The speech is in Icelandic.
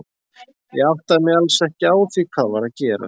Ég áttaði mig alls ekki á því hvað var að gerast.